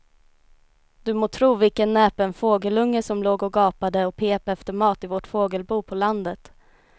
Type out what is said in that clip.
Du må tro vilken näpen fågelunge som låg och gapade och pep efter mat i vårt fågelbo på landet.